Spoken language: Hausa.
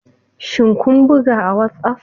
Shin kun buga a WhatsApp?